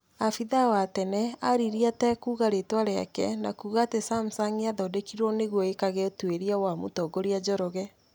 Afithaa wa tene aririe atakuga ritwa riake na kuga ati samsung yathondekirwo nĩguo ĩkage ũtuiria wa mũtongoria Njoroge